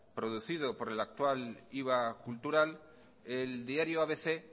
producido por el actual iva cultural el diario abc